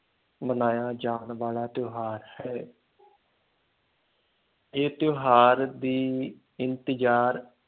ਮਨਾਇਆ ਜਾਣ ਵਾਲਾ ਤਿਉਹਾਰ ਹੈ ਇਹ ਤਿਉਹਾਰ ਦੀ ਇੰਤਜ਼ਾਰ